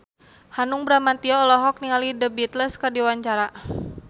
Hanung Bramantyo olohok ningali The Beatles keur diwawancara